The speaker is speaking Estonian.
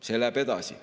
See läheb edasi.